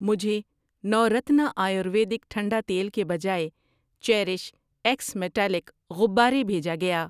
مجھے نورتنا آیورویدک ٹھنڈا تیل کے بجائے چیریش ایکس میٹالک غبارے بھیجا گیا۔